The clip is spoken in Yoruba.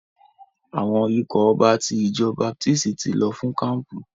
Àwọn ikọ̀ ọba ti ìjọ baptisti ti lọ fún kampu.